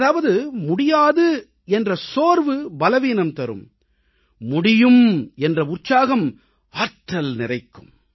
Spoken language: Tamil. அதாவது முடியாது என்ற அவநம்பிக்கை பலவீனம் தரும் முடியும் என்ற உற்சாகம் ஆற்றல் நிறைக்கும்